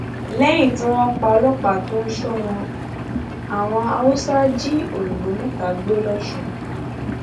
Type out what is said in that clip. lẹyìn tí wọn pa ọlọpàá tó ń sọ wọn àwọn haúsá jí òyìnbó mẹta gbé lọsùn